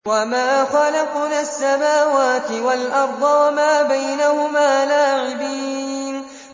وَمَا خَلَقْنَا السَّمَاوَاتِ وَالْأَرْضَ وَمَا بَيْنَهُمَا لَاعِبِينَ